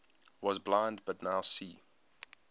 was blind but now see